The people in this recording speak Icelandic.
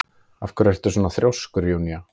Af hverju ertu svona þrjóskur, Júnía?